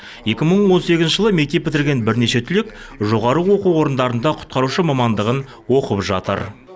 екі мың он сегізінші жылы мектеп бітірген бірнеше түлек жоғары оқу орындарында құтқарушы мамандығын оқып жатыр